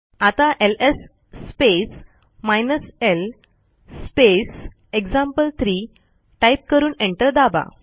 आता ls space hyphen l space example three type करून enter दाबा